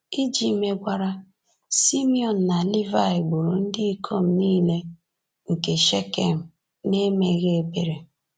Iji megwara, Simiọn na Livaị gburu ndị ikom niile nke Shekem n’emeghị ebere.